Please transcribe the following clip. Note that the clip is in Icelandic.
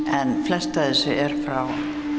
en flest af þessu er frá